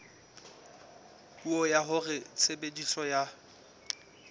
puo ya hore tshebediso ya